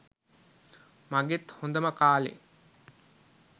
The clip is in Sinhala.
මගෙත් හොඳම කාලෙ.